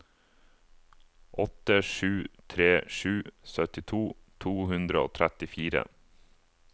åtte sju tre sju syttito to hundre og trettifire